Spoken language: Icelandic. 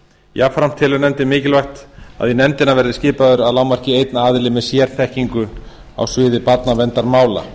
jafnframt telur nefndin mikilvægt að í nefndina verði skipaður að lágmarki einn aðili með sérþekkingu á sviði barnaverndarmála